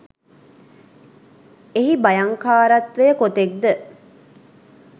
එහි භයංකාරත්වය කොතෙක්ද